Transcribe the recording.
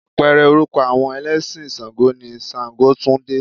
Apẹ̀rẹ̀ orúkọ àwọn ẹlẹ́sìn ṣàǹgó ni ṣàǹgótúndé.